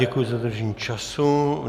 Děkuji za dodržení času.